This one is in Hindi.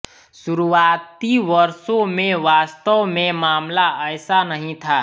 शुरुआती वर्षों में वास्तव में मामला ऐसा नहीं था